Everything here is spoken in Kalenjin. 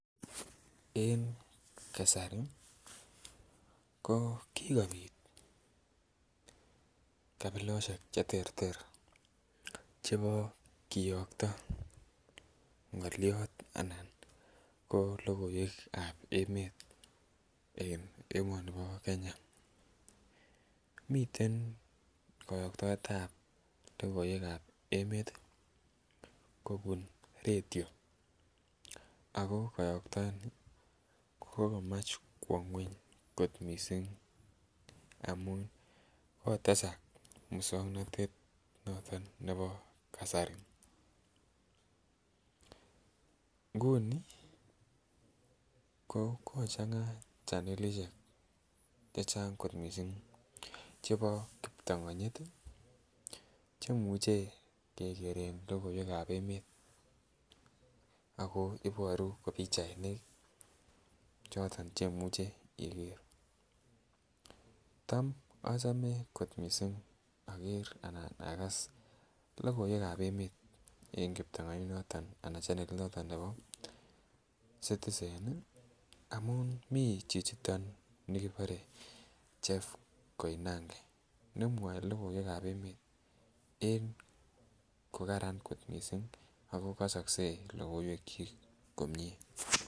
En kasari ko kikobit kabilosiek cheterter chebo kiyokto ng'olyot anan ko logoiwek ab emet en emoni bo Kenya miten koyotktoetab logoiwek ab emet kobun redio ako koyoktooni kokokomach kwo ng'weny kot missing amun kotesak muswongnotet noton nebo kasari nguni ko kochanga chanelisiek chechang kot missing chebo kiptongonyit chemuche kekeren logoiwek ab emet ako iboru ko pichainik choton chemuche iker tam achome kot missing oker anan akas logoiwek ab emet en kiptongonyit noton anan chanelit noton nebo Citizen ih amun mii chichiton nikibore Jeff Koinange nemwoe logoiwek ab emet en kokaran kot missing ako kosokse logoiwek kyik komie